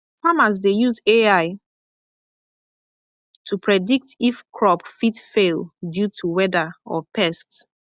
farmers dey use ai predict if crop fit fail due to weather or pest